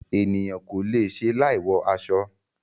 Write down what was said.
Ènìyàn kò le è ṣe láì wọ aṣọ.